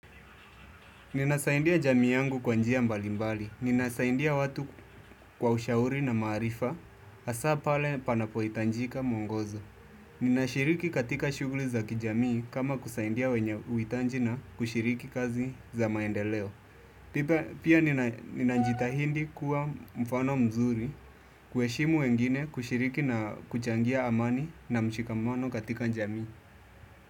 Ninasaidia jamii yangu kwa njia mbali mbali. Ninasaidia watu kwa ushauri na maarifa hasa pale panapoitajika muongozo. Ninashiriki katika shughuli za kijamii kama kusaidia wenye huitaji na kushiriki kazi za maendeleo. Pia ninajitahidi kuwa mfano mzuri kueshimu wengine kushiriki na kuchangia amani na mshikamano katika jamii.